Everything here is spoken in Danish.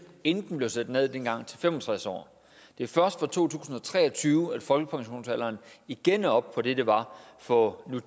inden den blev sat ned dengang til fem og tres år det er først fra to tusind og tre og tyve at folkepensionsalderen igen er oppe på det den var for nu